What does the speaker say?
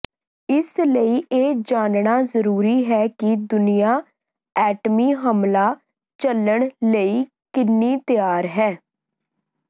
ਇਸ ਲਈ ਇਹ ਜਾਣਨਾ ਜ਼ਰੂਰੀ ਹੈ ਕਿ ਦੁਨੀਆ ਐਟਮੀ ਹਮਲਾ ਝੱਲਣ ਲਈ ਕਿੰਨੀ ਤਿਆਰ ਹੈ